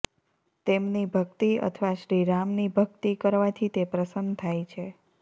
તેમની ભક્તિ અથવા શ્રીરામની ભક્તિ કરવાથી તે પ્રસન્ન થાય છે